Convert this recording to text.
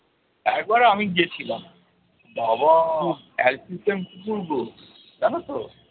তারপরে আমি গেছিলাম, বাবা অ্যালসেশিয়ান কুকুর গো জানো তো?